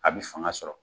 A bɛ fanga sɔrɔ